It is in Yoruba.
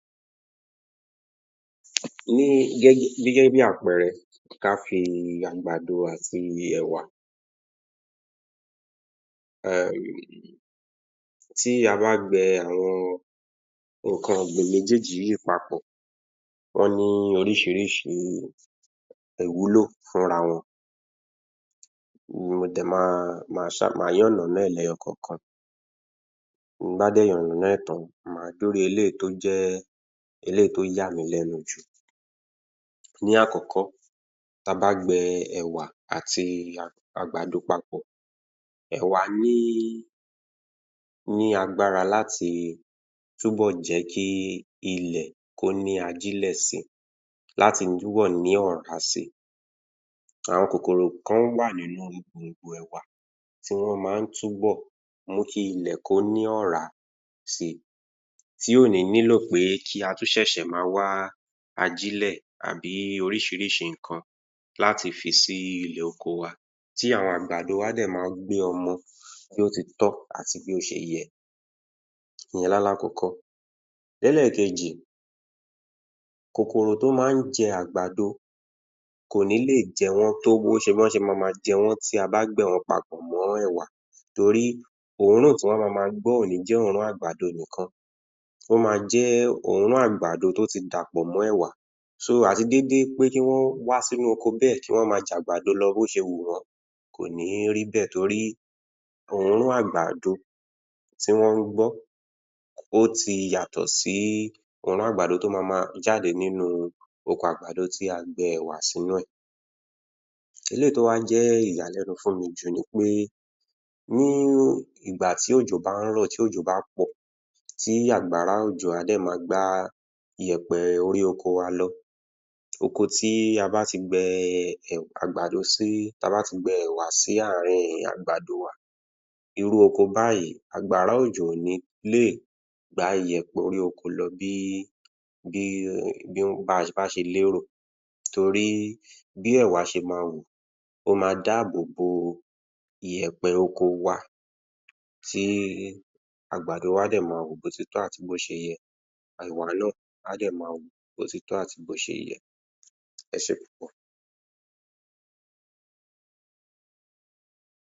Ní gẹ́gẹ́ bí àpẹẹrẹ, kí a fi àgbàdo àti ẹ̀wà tí a bá gbe nǹkan ọ̀gbìn méjèèjì yìí papọ̀, ó ní oríṣiríṣi ìwúlò fúnra wọn um má yánàná lẹ́yọ kọ̀ọ̀kan, tí bá dé yánàná ẹ̀ tán, má dú ró eléyìí tó jẹ́ eléyìí tó yàmí lẹ́nu jù. Ní àkọ́kọ́ tí a bá gbẹ ẹ̀wà àti àgbàdo papọ̀, ẹ̀wà ní agbára láti tún bọ̀ jẹ́kí ilẹ̀ kó ní ajílẹ̀ si láti túnbọ̀ ní ọ̀rá si. Àwọn kòkòrò kan wà ní ipò ẹ̀wà kí ó túnbọ̀ mú kí ilẹ̀ kó ní ọ̀rá si, tí ò ní nílò pé kí a tún ṣẹ̀ṣẹ̀ ma wá ajílẹ̀ àbí oríṣiríṣi nǹkan láti fi sí ilẹ̀ oko wa tí àwọn àgbàdo wa dẹ̀ mà gbin ọmọ bí ó ti tọ̀ àti bí ó ti yẹ, ìyẹn ni àlákọkọ́. Ẹlẹ́kẹ̀ẹjì, kòkòrò tí k máa ń jẹ àgbàdo kò ní lè jẹ wọ́n tó wọn ṣe mama jẹ́ wọn ti a ba gbìn wọn papọ̀ mọ́ ẹ̀wà torí òórùn tí wọ́n a mama gbọ́ kò ní jẹ́ òórùn àgbàdo nìkan, ó ma jẹ́ ọrùn àgbàdo tí ó ti dàpọ̀ mọ́ ẹ̀wà, àti gedegbe pé kí ó wà sínú oko bẹ́ẹ̀ kí wọn ma jẹ́ àgbàdo bẹ bí ó ṣe wùn wọ́n kò ní rí bẹ̀ nítorí òórùn àgbàdo tí wọ́n ń gbọ́ ó ti yàtọ̀ sí òórùn àgbàdo tí ó mama jáde láti inú oko àgbàdo tí a gbin ẹ̀wà sínú rẹ̀. Eléyìí tí ó wà ń jẹ́ ìyàlẹ́nu jù fún mi ni pé nígbà tí òjò bá ń rọ̀, tí òjò bá pọ̀ tí àgbàrá òjò á sì ma gbá ìyẹ̀pẹ̀ orí oko wa lọ, oko tí a bá ti gbin àgbàdo sí ti a ba ti gbin ẹ̀wà sì àárín àgbàdo wa, irú ọkọ báyìí àgbàrá ojo kò ní lè gbá ìyẹ̀pẹ̀ orí oko lọ bí um o bá ṣe lérò torí bí ẹ̀wà ṣe ma wù ó ma dábòbo ìyẹ̀pẹ̀ oko wa ti àgbàdo wa dẹ̀ ma wù bí ó ti tọ́ àti bí ó ti yẹ ẹ̀wà náà á dẹ̀ ma wù bí ó ti tọ́ àti bí ó ti yẹ. Ẹ ṣé púpọ̀